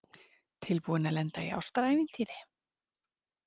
Tilbúin til að lenda í ástarævintýri